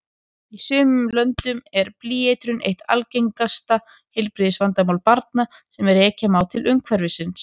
Í sumum löndum er blýeitrun eitt algengasta heilbrigðisvandamál barna sem rekja má til umhverfisins.